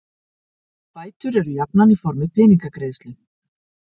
Bætur eru jafnan í formi peningagreiðslu.